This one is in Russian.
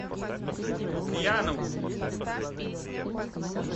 лукьянову